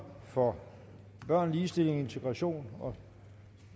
for børn ligestilling integration og